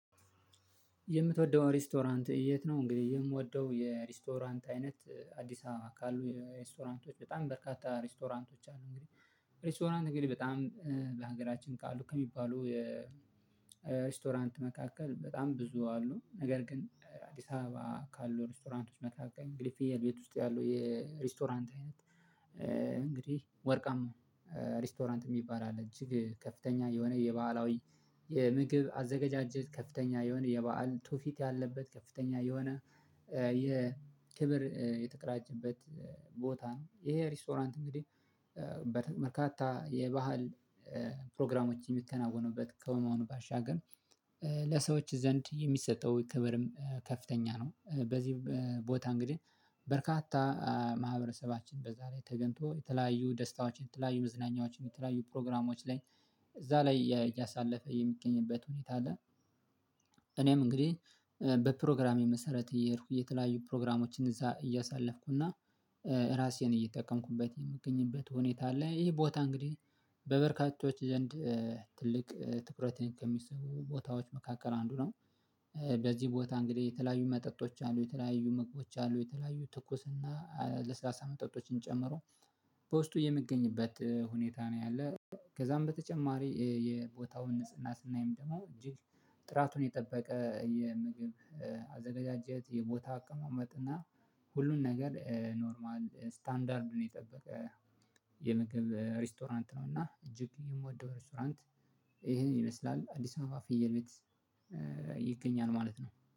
የምትወደው ሬስቶራንት የት ነው? እንግዲህ የምወደው የሬስቶራንት አይነት አዲስ ከአሉ ሬስቶራንቶች በጣም በርካታ ሬስቶራንቶች አሉ። እንግዲህ ሬስቶራንት እንግዲህ በጣም በሀገራችን ካሉ ከሚባሉ የ የሪስቶራንት መካከል በጣም ብዙ አሉ ነገር ግን አዲስ አበባ ከአሉ ሪስቶራንቶች መካከል እንግዲህ ቤት ውስጥ ያለው የሬስቶራንት አይነት። እንግዲህ ወርቃም ሬስቶራንት የሚባል አለ እጅግ ከፍተኛ የሆነ የባህላዊ የምግብ አዘጋጃጀት ከፍተኛ የሆነ የበህል ቱፊት ያለበት ከፍተኛ የሆነ የክብር የተቀዳጀበት ቦታ ነው። ይሄ ሪስቶራንት እንግዲህ በርካታ የባህል ፕሮግራሞችን የሚከናወኑበት ከመሆኑ ባሻገር ለሰዎች ዘንድ የሚሰጠው ከብርም ከፍተኛ ነው። በዚህ ቦታ እንግዲህ በርካታ ማህበረሰባችን በዚያ ላይ ተገኝቶ የተለያዩ ደስታዎችን የተለያዩ መዝናኛዎችን የተለያዩ ፕሮግራሞች ላይ እዚያ ላይ እያሳለፈ የሚገኝበት ሁኔታ አለ። እኔም እንግዲህ በፕሮግራሜ መሰረት እየሄድኩ እየተለያዩ ፕሮግራሞችን እዚያ እያሳለፍኩና ራሴን እየጠቀምኩበት የምገኝበት ሁኔታ አለ። ይሄ ቦታ እንግዲህ በበርካቶች ዘንድ ትልቅ ትኩረትን ከሚሰጡ ቦታዎች መካከል አንዱ ነው። በዚህ ቦታ እንግዲህ የተለያዩ መጠጦች አሉ የተለያዩ ምግቦች አሉ የተለያዩ ትኩስና ለስላሳ መጠጦችን ጨምሮ በውስጡ የሚገኝበት ሁኔታ ነው ያለ ያለው። ከዚያም በተጨማሪ የቦታውን ንጽህና ስናይም ደግሞ እጅግ ጥራቱን የጠበቀ የምግብ አዘገጃጀት የቦታ አቀማመጥና ሁሉን ነገር ኖርማል ስታንዳርድ ነው የጠበቀ የምግብ ሬስቶራንት ነው። እና እጅግ የምወደው ሬስቶራንት ይሄን ይመስላል አዲስ አበባ ፍየል ቤት ይገኛል ማለት ነው